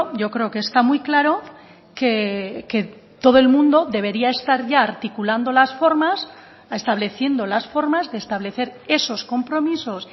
yo creo que está muy claro que todo el mundo debería estar ya articulando las formas estableciendo las formas de establecer esos compromisos